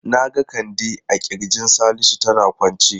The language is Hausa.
Na ga Kande a kirjin Salisu tana kwance.